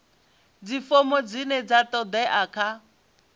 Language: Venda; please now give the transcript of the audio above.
dzifomo dzine dza todea kha